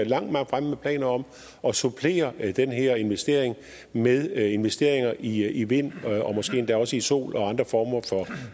langt fremme med planer om at supplere den her investering med investeringer i i vind og måske endda også i sol og andre former